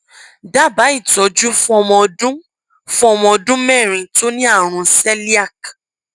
dábàá ìtọjú fún ọmọ ọdún fún ọmọ ọdún mẹrin tó ní àrùn celiac